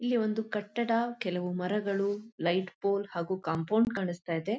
ಇಲ್ಲಿ ಒಂದು ಕಟ್ಟಡ ಕೆಲವು ಮರಗಳು ಲೈಟ್ ಪೋಲ್ ಹಾಗು ಕಾಂಪೌಂಡ್ ಕಾಣಸ್ತಾಯಿದೆ.